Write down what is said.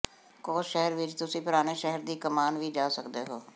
ਕੋਸ ਸ਼ਹਿਰ ਵਿਚ ਤੁਸੀਂ ਪੁਰਾਣੇ ਸ਼ਹਿਰ ਦੀ ਕਮਾਨ ਵੀ ਜਾ ਸਕਦੇ ਹੋ